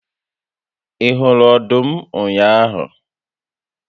Ị hụrụ ọdụm ụnyaahụ?